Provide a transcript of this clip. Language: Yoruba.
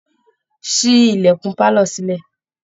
Ṣí ilẹ̀kun pálọ̀ sílẹ̀!